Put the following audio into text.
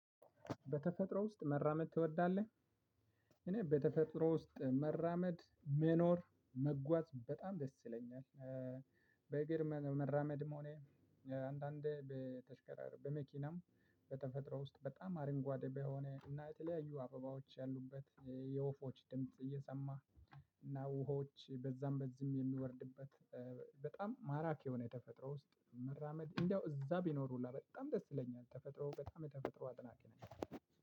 በተፈጥሮ ውስጥ መራመድ ትወዳለህ? እኔ በተፈጥሮ ውስጥ መራመድ መኖር መጓዝ በጣም ደስ ይለኛል። በእግር መራመድም ሆነ አንዳንዴ በተሽከራር በመኪናም። በተፈጥሮ ውስጥ በጣም አርንጓዴ በሆነ እና የተለያዩ አበባዎች ያሉበት የወፎች ድምጽ እየሰማህ እና ውሃዎች በዛም በዚም የሚወርዱድት። በጣም ማራኪ የሆነ ተፈጥሮ ውስጥ መራመድ እንደው እዛው ብኖር ሁላ በጣም ደስ ይለኛል። ተፈጥሮ በታም የተፈጥሮ አድናቂ ነኝ።